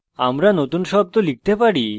আমরা নতুন শব্দ লিখতে পারি